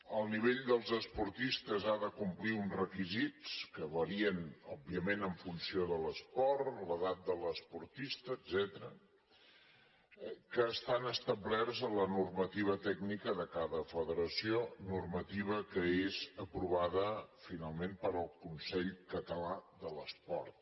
el nivell dels esportistes ha de complir uns requisits que varien òbviament en funció de l’esport l’edat de l’esportista etcètera que estan establerts a la normativa tècnica de cada federació normativa que és aprovada finalment pel consell català de l’esport